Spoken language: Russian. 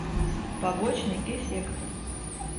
побочный эффект